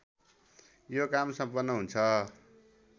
यो काम सम्पन्न हुन्छ